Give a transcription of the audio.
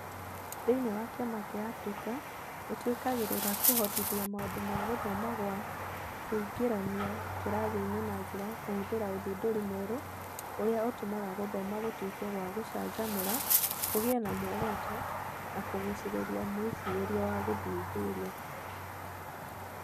Thĩinĩ wa kiama kĩa Africa, nĩ twĩkagĩrĩra kũhotithia maũndũ ma gũthoma gwa kũingĩrania kĩrathi-inĩ na njĩra ya kũhũthĩra ũthundũri mwerũ ũria ũtũmaga gũthoma gũtuĩke gwa gũcanjamũra, kũgĩe na muoroto, na kũgucĩrĩria mwĩcirĩrie wa gũthuthuria.